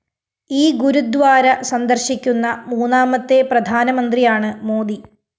ഈ ഗുരുദ്വാര സന്ദര്‍ശിക്കുന്ന മൂന്നാമത്തെ പ്രധാനമന്ത്രിയാണ് മോദി